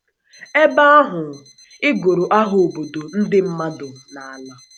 Ebe ahụ, ịgụrụ aha obodo, ndị mmadụ, na ala.